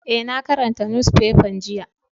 Eh, na karanta nusfefan jiya.